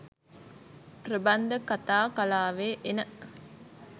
ප්‍රබන්ධ කතා කලාවේ එන